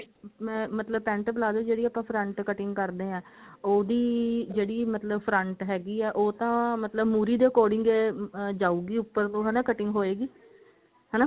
ਮੈਂ ਮਤਲਬ pent palazzo ਦੀ ਜਿਹੜੀ ਆਪਾਂ front cutting ਕਰਦੇ ਹਾਂ ਉਹਦੀ ਜਿਹੜੀ ਮਤਲਬ front ਹੈਗੀ ਹੈ ਉਹ ਤਾਂ ਮਤਲਬ ਮੁਹਰੀ ਦੇ according ਜਾਉਗੀ ਉੱਪਰ ਨੂੰ ਮਤਲਬ ਹਨਾ cutting ਹੋਏਗੀ ਹਨਾ